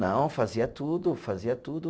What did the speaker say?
Não, fazia tudo, fazia tudo.